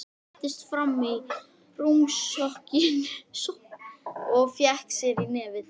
Settist fram á rúmstokkinn og fékk sér í nefið.